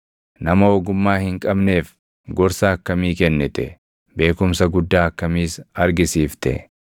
Nama ogummaa hin qabneef gorsa akkamii kennite! Beekumsa guddaa akkamiis argisiifte!